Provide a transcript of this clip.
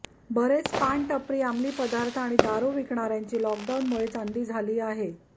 बरेच पान टपरी अमली पदार्थ आणि दारू विकणार्यांची लॉकडाऊनमुळे चांदी झाली आहे